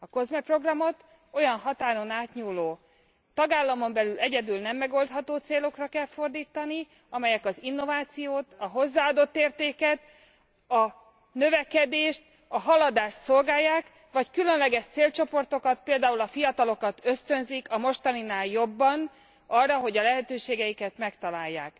A COSME programot olyan határon átnyúló, tagállamon belül egyedül nem megoldható célokra kell fordítani, amelyek az innovációt, a hozzáadott értéket, a növekedést, a haladást szolgálják, vagy különleges célcsoportokat, például a fiatalokat ösztönzik a mostaninál jobban arra, hogy a lehetőségeiket megtalálják.